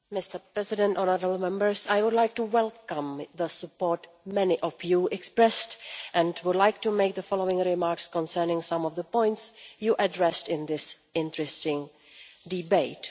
Mr President, I would like to welcome the support many of you expressed and would like to make the following remarks concerning some of the points you addressed in this interesting debate.